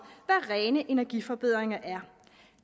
hvad rene energiforbedringer er